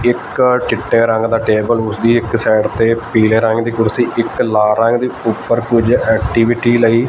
ਇਕ ਚਿੱਟੇ ਰੰਗ ਦਾ ਟੇਬਲ ਉਸਦੀ ਇੱਕ ਸਾਈਡ ਤੇ ਪੀਲੇ ਰੰਗ ਦੀ ਕੁਰਸੀ ਇੱਕ ਲਾਲ ਰੰਗ ਦੀ ਉਪਰ ਕੁਝ ਐਕਟੀਵਿਟੀ ਲਈ--